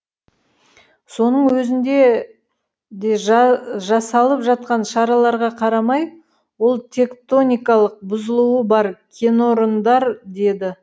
соның өзінде де жасалып жатқан шараларға қарамай ол тектоникалық бұзылуы бар кенорындар деді